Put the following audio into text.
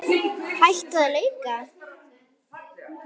Hætta á leka?